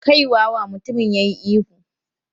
"Kai wawa!" Mutumin ya yi ihu.